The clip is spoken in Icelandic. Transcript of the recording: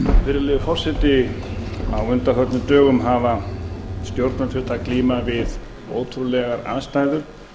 virðulegi forseti á undanförnum dögum hafa stjórnvöld þurft að glíma við ótrúlegar aðstæður